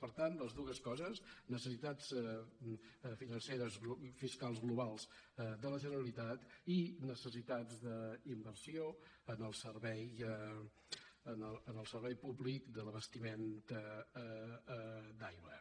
per tant les dues coses necessitats financeres fiscals globals de la generalitat i necessitats d’inversió en el servei públic de l’abastiment d’aigua